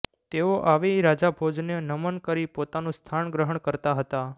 તેઓ આવી રાજાભોજને નમન કરી પોતાનું સ્થાન ગ્રહણ કરતા હતા